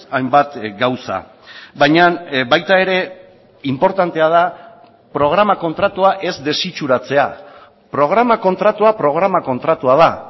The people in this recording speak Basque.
hainbat gauza baina baita ere inportantea da programa kontratua ez desitxuratzea programa kontratua programa kontratua da